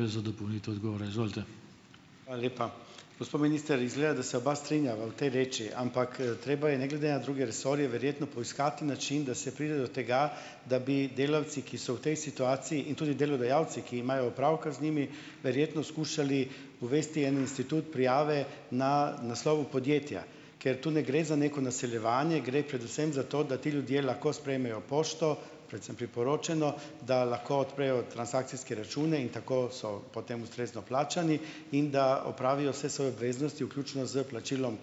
Hvala lepa. Gospod minister, izgleda, da se oba strinjava v tej reči, ampak, treba je ne glede na druge resorje verjetno poiskati način, da se pride do tega, da bi delavci, ki so v tej situaciji, in tudi delodajalci, ki imajo opravka z njimi, verjetno skušali uvesti en institut prijave na naslovu podjetja, ker tu ne gre za neko naseljevanje, gre predvsem za to, da ti ljudje lahko sprejmejo pošto, predvsem priporočeno, da lahko odprejo transakcijske račune in tako so potem ustrezno plačani in da opravijo vse svoje obveznosti, vključno s plačilom